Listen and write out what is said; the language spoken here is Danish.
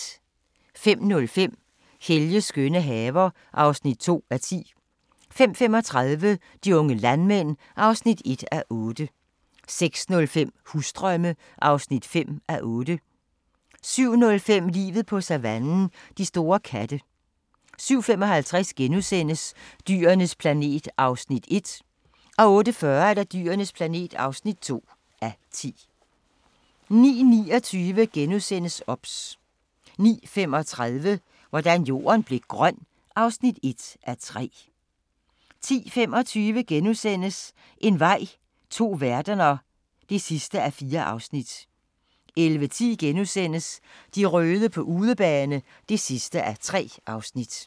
05:05: Helges skønne haver (2:10) 05:35: De unge landmænd (1:8) 06:05: Husdrømme (5:8) 07:05: Livet på savannen – de store katte 07:55: Dyrenes planet (1:10)* 08:40: Dyrenes planet (2:10) 09:29: OBS * 09:35: Hvordan Jorden blev grøn (1:3) 10:25: En vej – to verdener (4:4)* 11:10: De røde på udebane (3:3)*